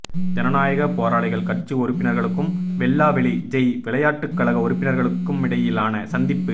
ஜனநாயக போராளிகள் கட்சி உறுப்பினர்களுக்கும் வெல்லாவெளி ஜெய் விளையாட்டுக் கழக உறுப்பினர்களுக்குமிடையிலான சந்திப்பு